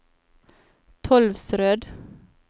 Tolvsrød